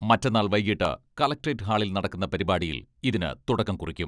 മറ്റന്നാൾ വൈകീട്ട് കളക്ട്രേറ്റ് ഹാളിൽ നടക്കുന്ന പരിപാടിയിൽ ഇതിന് തുടക്കം കുറിക്കും.